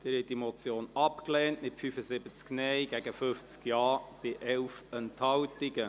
Sie haben die Motion abgelehnt, mit 75 Nein- gegen 50 Ja-Stimmen bei 11 Enthaltungen.